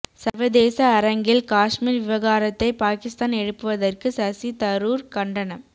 சா்வதேச அரங்கில் காஷ்மீா் விவகாரத்தை பாகிஸ்தான் எழுப்புவதற்கு சசி தரூா் கண்டனம்